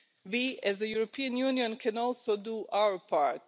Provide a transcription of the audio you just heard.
We as the European Union can also do our part.